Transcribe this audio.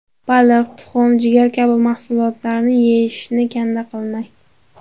Baliq, tuxum, jigar kabi mahsulotlarni yeyishni kanda qilmang.